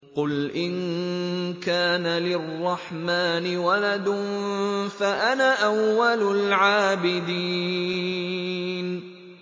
قُلْ إِن كَانَ لِلرَّحْمَٰنِ وَلَدٌ فَأَنَا أَوَّلُ الْعَابِدِينَ